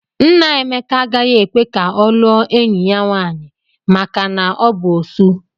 Nna Emeka agaghị ekwe ka ọ lụọ enyi ya nwaanyị maka na ọ bụ Osu.